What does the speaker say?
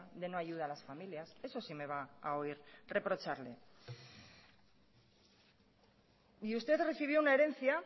de no ayuda a las familias eso sí me va a oír reprocharle y usted recibió una herencia